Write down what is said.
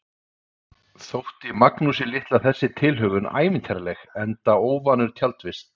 Þótti Magnúsi litla þessi tilhögun ævintýraleg, enda óvanur tjaldvist.